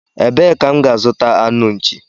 Ebee ka m ga azuta anụ nchi?